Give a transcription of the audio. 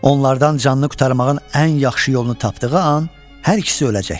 Onlardan canını qurtarmağın ən yaxşı yolunu tapdığı an hər ikisi öləcəkdi.